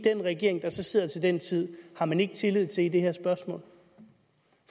regering der så sidder til den tid har man ikke tillid til i det her spørgsmål